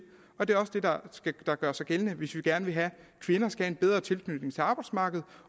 og det er også det der der gør sig gældende hvis vi gerne vil have at kvinder skal have en bedre tilknytning til arbejdsmarkedet